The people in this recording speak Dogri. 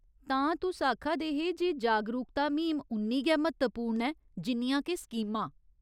तां, तुस आखा दे हे जे जागरूकता म्हीम उन्नी गै म्हत्तवपूर्ण ऐ जिन्नियां के स्कीमां।